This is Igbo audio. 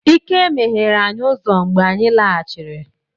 Ike meghere anyi uzo mgbe anyi laghachiri.